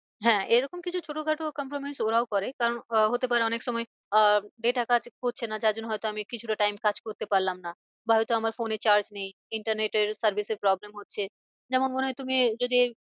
হ্যাঁ এরকম কিছু ছোটো খাটো compromise ওরাও করে কারণ আহ হতে পারে অনেক সময় আহ data কাজ করছে না যার জন্য হয় তো আমি কিছুটা time কাজ করতে পারলাম না। বা হয় তো আমার phone এ charge নেই internet এর service এর problem হচ্ছে। যেমন মনে হয় তুমি যদি